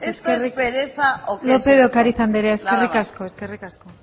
esto es pereza o que es esto nada más lópez de ocariz andrea eskerrik asko eskerrik asko